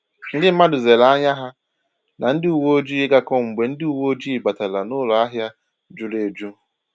Ndi mmadụ zere ànyà ha na ndị uwe ojii ịgakọ mgbe ndị uwe oji batara n'ụlọ ahịa juru eju